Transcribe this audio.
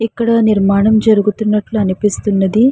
ఇక్కడ నిర్మాణం జరుగుతున్నట్లు అనిపిస్తున్నది.